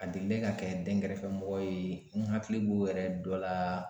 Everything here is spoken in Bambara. A delila ka kɛ dɛnkɛrɛfɛmɔgɔw ye n hakili b'o yɛrɛ dɔ la.